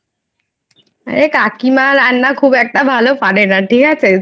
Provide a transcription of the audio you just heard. আর কাকিমার রান্না খুব একটা পারে না ঠিক আছে,